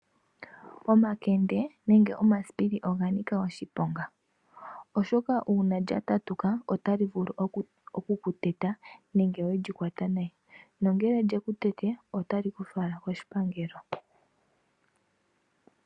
Omakende nenge oma siipili oganika oshiponga. Oshoka uuna lya tatuka otalyi vulu oku kuteta nenge welyi kwata nayi. Nongele lyeku tete otali kufala ko shipangelo.